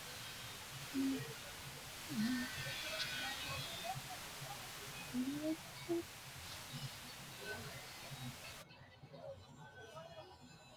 Oosichi’ne mine loosara uynoonni loosira beeqqo asse; lawishshaho anna, ama woy wole maatete miilla qaali xa’mo assa, hasaawu borro qixxeessi’ra, hasaawa rosiisi’ra.